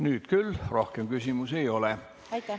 Nüüd küll rohkem küsimusi ei ole.